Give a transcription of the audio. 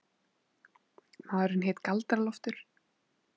Maðurinn hét Galdra-Loftur.